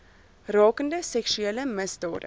rakende seksuele misdade